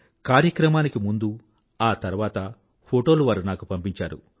కార్యక్రమానికి ముందూ ఆ తర్వాత ఫోటోలు వారు నాకు పంపించారు